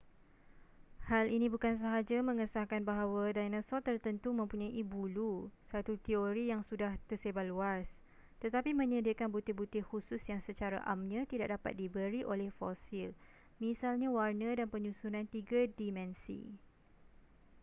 hal ini bukan sahaja mengesahkan bahawa dinosaur tertentu mempunyai bulu satu teori yang sudah tersebar luas tetapi menyediakan butir-butir khusus yang secara amnya tidak dapat diberi oleh fosil misalnya warna dan penyusunan tiga dimensi